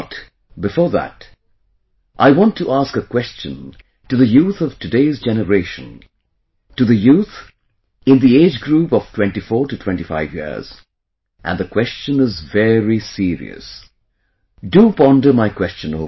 But, before that I want to ask a question to the youth of today's generation, to the youth in the age group of 2425 years, and the question is very serious... do ponder my question over